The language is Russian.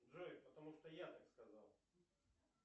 джой потому что я так сказал